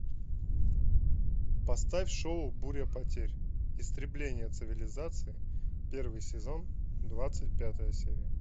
поставь шоу буря потерь истребление цивилизации первый сезон двадцать пятая серия